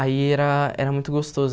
Aí era era muito gostoso.